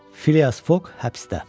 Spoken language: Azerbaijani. Filias Foq həbsdə.